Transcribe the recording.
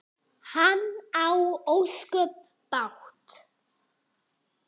Hann á ósköp bágt.